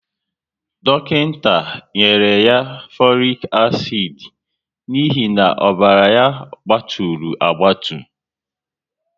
Dọkịnta nyere ya folic acid n'ihi na ọbara ya gbaturu agbatu